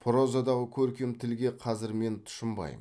прозадағы көркем тілге қазір мен тұщынбаймын